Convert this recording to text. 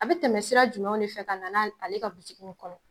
A bɛ tɛmɛ sira jumɛn de fɛ ka na n'ale ale ka butigi in kɔnɔ!